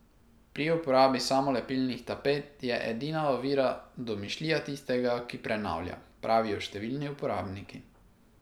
Pri uporabi samolepilnih tapet je edina ovira domišljija tistega, ki prenavlja, pravijo številni uporabniki.